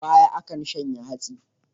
A baya, akan shanya hantsi.